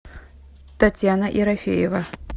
татьяна ерофеева